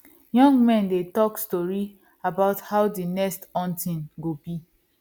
young men dey talk story about how the next hunting go be